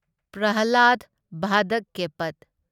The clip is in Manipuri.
ꯄ꯭ꯔꯍꯂꯥꯗ ꯚꯥꯗꯛꯀꯦꯄꯠ